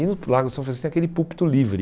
E no Lago São Francisco tem aquele púlpito livre.